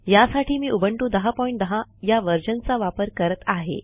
यासाठी मी उबंटू १०१० या व्हर्शन चा वापर करत आहे